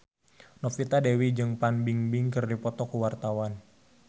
Novita Dewi jeung Fan Bingbing keur dipoto ku wartawan